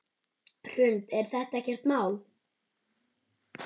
Hrund: Er þetta ekkert mál?